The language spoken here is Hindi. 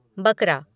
बकरा